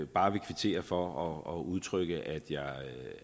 bare vil kvittere for og og udtrykke